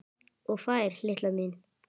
Og fær, litla mín.